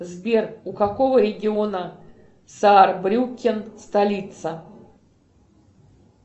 сбер у какого региона саарбрюккен столица